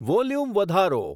volume વધારો